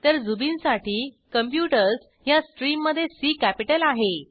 तर झुबिन साठी कॉम्प्युटर्स ह्या स्ट्रीममधे सी कॅपिटल आहे